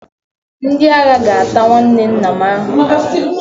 Ndị agha ga-ata nwanne nna m ahụhụ